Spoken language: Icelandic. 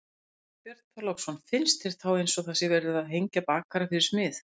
Björn Þorláksson: Finnst þér þá eins og það sé verið að hengja bakara fyrir smið?